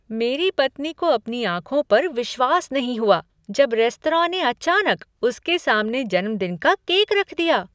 मेरी पत्नी को अपनी आँखों पर विश्वास नहीं हुआ जब रेस्तरां ने अचानक उसके सामने जन्मदिन का केक रख दिया।